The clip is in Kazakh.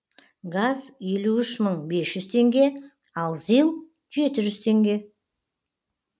газ елу үш мың бес жүз теңге ал зил жеті жүз теңге